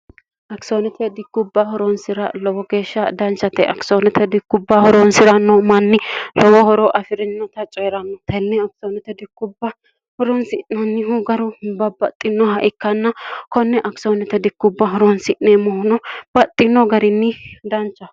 akisoonete dikkubba horoonsi'ra lowo geeshsha danchate akisoonete dikkubba horoonsi'ranno manni lowo horoo afi'rinota cee'ranno tenne akisoonote dikkubba horonsi'nonnihu garu babbaxxinoha ikkanna konne akisoonote dikkubba horonsi'neemmohuno baxxino garinni dancha